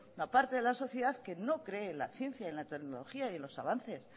la parte de la sociedad que no cree en la ciencia y en la tecnología y en los avances